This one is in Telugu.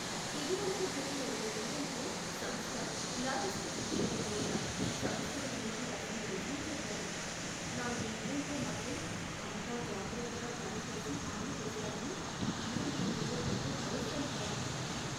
ఇదివరకు జరిగిన ఒక ఈవెంట్లో సంస్థ, లాజిస్టిక్స్ విషయంలో ఉన్న సమస్యల గురించి రాసిన రివ్యూ చదివాను. నా ఈవెంట్లో మాత్రం అంతా జాగ్రత్తగా ప్లాన్ చేసి అమలు చేస్తారని ఈవెంట్ మేనేజర్ నాకు భరోసా ఇవ్వాలి.